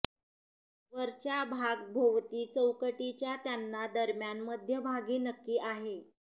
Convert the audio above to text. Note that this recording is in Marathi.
वरच्या भाग भोवती चौकटीच्या त्यांना दरम्यान मध्यभागी नक्की आहे